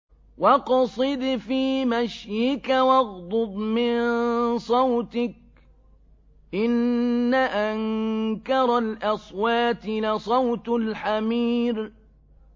وَاقْصِدْ فِي مَشْيِكَ وَاغْضُضْ مِن صَوْتِكَ ۚ إِنَّ أَنكَرَ الْأَصْوَاتِ لَصَوْتُ الْحَمِيرِ